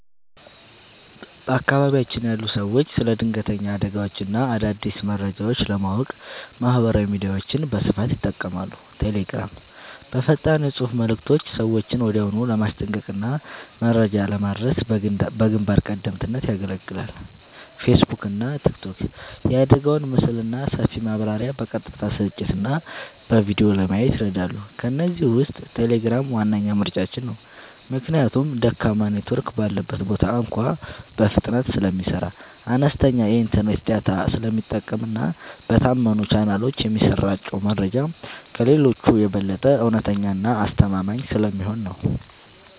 በአካባቢያችን ያሉ ሰዎች ስለ ድንገተኛ አደጋዎችና አዳዲስ መረጃዎች ለማወቅ ማህበራዊ ሚዲያዎችን በስፋት ይጠቀማሉ። ቴሌግራም፦ በፈጣን የፅሁፍ መልዕክቶች ሰዎችን ወዲያውኑ ለማስጠንቀቅና መረጃ ለማድረስ በግንባር ቀደምትነት ያገለግላል። ፌስቡክና ቲክቶክ፦ የአደጋውን ምስልና ሰፊ ማብራሪያ በቀጥታ ስርጭትና በቪዲዮ ለማየት ይረዳሉ። ከእነዚህ ውስጥ ቴሌግራም ዋነኛ ምርጫችን ነው። ምክንያቱም ደካማ ኔትወርክ ባለበት ቦታ እንኳ በፍጥነት ስለሚሰራ፣ አነስተኛ የኢንተርኔት ዳታ ስለሚጠቀምና በታመኑ ቻናሎች የሚሰራጨው መረጃ ከሌሎቹ የበለጠ እውነተኛና አስተማማኝ ስለሚሆን ነው።